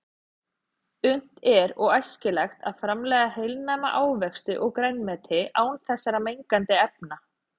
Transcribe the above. Unnt er og æskilegt að framleiða heilnæma ávexti og grænmeti án þessara mengandi efna.